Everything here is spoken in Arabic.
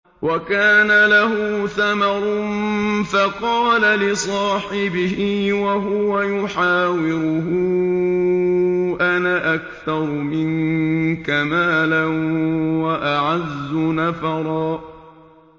وَكَانَ لَهُ ثَمَرٌ فَقَالَ لِصَاحِبِهِ وَهُوَ يُحَاوِرُهُ أَنَا أَكْثَرُ مِنكَ مَالًا وَأَعَزُّ نَفَرًا